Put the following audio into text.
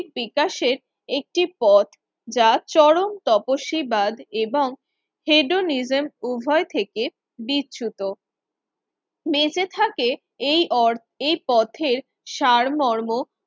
বিকাশের একটি পথ যা চরম তপস্বীবাদ এবং হেডোনিজেম উভয় থেকে বিচ্যুত। বেঁচে থাকে এই ওর এই পথের সারমর্ম